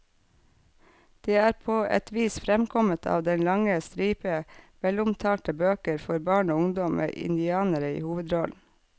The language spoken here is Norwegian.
Det er på et vis fremkommet av den lange stripe velomtalte bøker for barn og ungdom med indianere i hovedrollen.